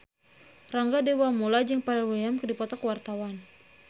Rangga Dewamoela jeung Pharrell Williams keur dipoto ku wartawan